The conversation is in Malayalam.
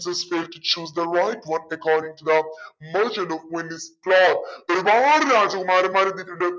merchant of വെനീസ് ഒരുപാട് രാജകുമാരന്മാരെത്തീട്ടുണ്ട്